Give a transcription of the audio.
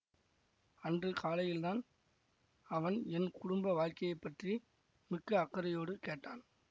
அன்று காலையில் தான் அவன் என் குடும்ப வாழ்க்கையை பற்றி மிக்க அக்கறையோடு கேட்டான்